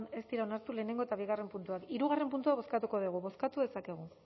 ez dira onartu lehenengo eta bigarren puntuak hirugarren puntua bozkatuko dugu bozkatu dezakegu